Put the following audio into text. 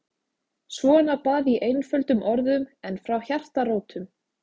Svona bað ég einföldum orðum en frá hjartarótum.